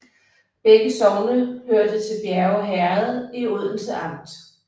Begge sogne hørte til Bjerge Herred i Odense Amt